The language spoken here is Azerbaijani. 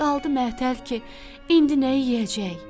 Qaldı məətəl ki, indi nəyi yeyəcək?